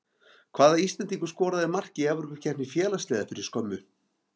Hvaða Íslendingur skoraði mark í evrópukeppni félagsliða fyrir skömmu?